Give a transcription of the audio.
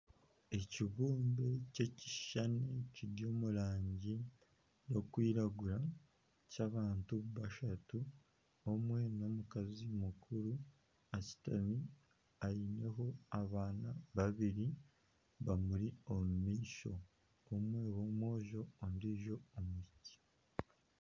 Ekibumbe ky'ekishushani kiri omu rangi erikwiragura ky'abantu bashatu omwe n'omukazi mukuru ashutami aineho abaana babiri bamuri omu maisho omwe w'omwojo ondijo omwishiiki.